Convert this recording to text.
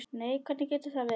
Nei, hvernig getur það verið?